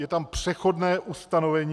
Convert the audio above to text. Je tam přechodné ustanovení.